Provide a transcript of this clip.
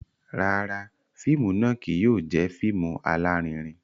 Rárá, fíìmù náà kìí yóò jẹ fíìmù alarinrin